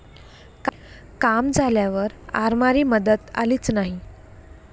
काम झाल्यावर आरमारी मदत आलीच नाही.